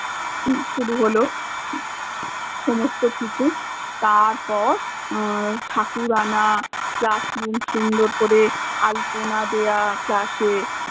শুরু হল সমস্ত কিছু আহ ঠাকুর আনা, classroom সুন্দর করে আল্পনা দেয়া room এ